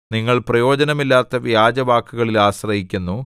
നിങ്ങൾ പ്രയോജനമില്ലാത്ത വ്യാജവാക്കുകളിൽ ആശ്രയിക്കുന്നു